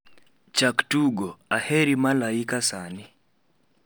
chak tugo, aheri malaika sani